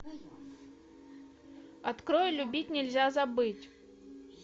открой любить нельзя забыть